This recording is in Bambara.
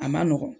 A ma nɔgɔn